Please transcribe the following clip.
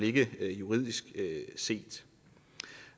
ikke juridisk set